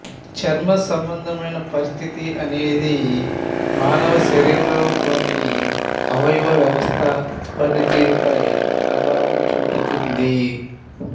చర్మసంబంధమైన పరిస్థితి అనేది మనిషి శరీరంలోని అవయవ వ్యవస్థ పనితీరు పై ప్రభావం చూపుతుంది